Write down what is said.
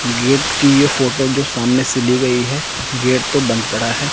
Gate की ये photo जो सामने से ली गई है गेट तो बंद पड़ा है।